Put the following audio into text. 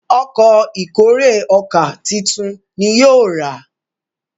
Ọkọ̀ ìkórè ọkà títún ní yóò rà.